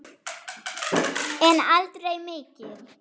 En aldrei mikið.